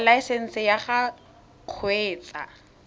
ya laesesnse ya go kgweetsa